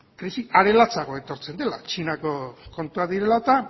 krisi are latzagoa etortzen dela txinako kontuak direla eta